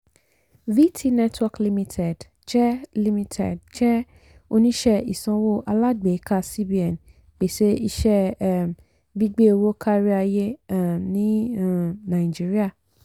vtnetwork limited jẹ́ limited jẹ́ oníṣẹ́ ìsanwó alágbèéká cbn pèsè iṣẹ́ um gbígbé owó káríayé um ní um naijiría.